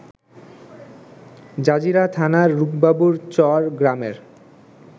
Jazeera থানার রুপবাবুরচর গ্রামের